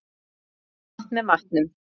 Við drekkum vatn með matnum.